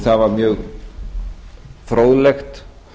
það var mjög fróðlegt